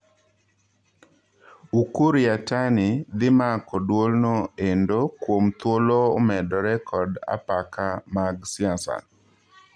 Ukur Yatani dhii mako duolno endo kuom thuolo umedore kod apaka mag siasa .